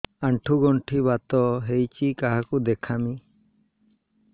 ଆଣ୍ଠୁ ଗଣ୍ଠି ବାତ ହେଇଚି କାହାକୁ ଦେଖାମି